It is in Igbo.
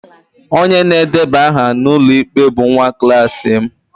Onye na-edeba aha n'ụlọikpe bụ nwa klas m